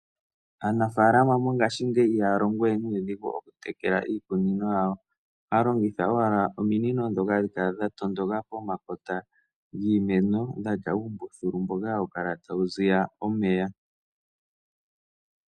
Aanafaalama mongashingeyi ihaya longo we nuudhigu okutekela iikunino yawo, ohaya longitha owala ominino dhoka hadhi kala dhatondoka pomakota giimeno dhatya uumbuthulu mboka hawu kala tawu ziya omeya.